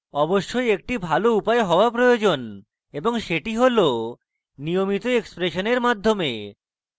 অবশ্যই একটি ভাল উপায় হওয়া প্রয়োজন এবং সেটি হল নিয়মিত এক্সপ্রেশনের মাধ্যমে